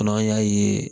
N'an y'a ye